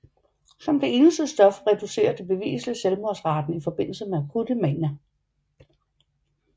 Som det eneste stof reducerer det beviseligt selvmordsraten i forbindelse med akutte manier